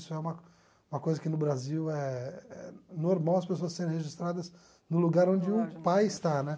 Isso é uma uma coisa que no Brasil eh eh é normal as pessoas serem registradas no lugar onde o pai está, né?